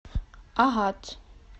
агат